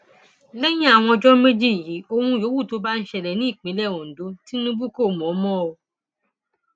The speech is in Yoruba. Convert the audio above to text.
lẹyìn àwọn ọjọ méjì yìí ohun yòówù tó bá ń ṣẹlẹ ní ìpínlẹ ondo tinubu kò mọ mọ o